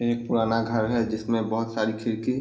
एक पुराना घर है जिसमे बहुत सारी खिड़की --